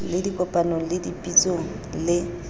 le dikopanong le dipitsong le